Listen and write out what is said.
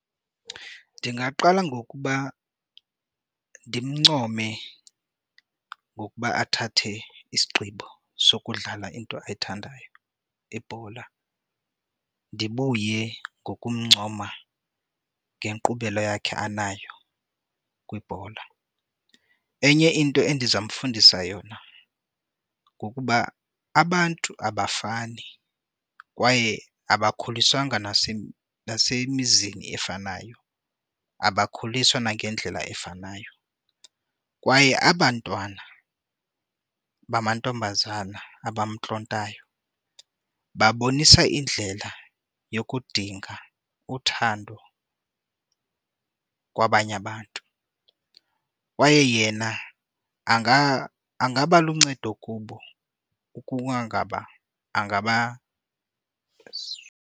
Ndingaqala ngokuba ndimncome ngokuba athathe isigqibo sokudlala into ayithandayo, ibhola. Ndibuye ngokumncoma ngenkqubela yakhe anayo kwibhola. Enye into endiza mfundisa yona ngokuba abantu abafani kwaye abakhuliswanga nasemizini efanayo, abakhuliswa nangendlela efanayo kwaye aba 'ntwana bamantombazana abamntlontayo babonisa indlela yokudinga uthando kwabanye abantu, kwaye yena angaba luncedo ukuba kungaba .